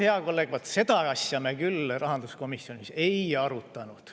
Hea kolleeg, vaat seda asja me küll rahanduskomisjonis ei arutanud.